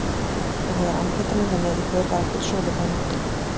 En þegar amfetamín var með í för var ekkert sofið þá nóttina.